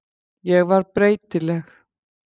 Ég var breytileg.